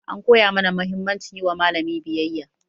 An koya mana mahimmancin yi wa malami biyayya.